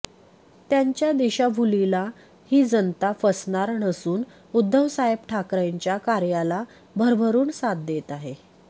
त्यांच्या दिशाभूलीला ही जनता फसणार नसून उद्धव साहेब ठाकरेंच्या कार्याला भरभरून साथ देत आहे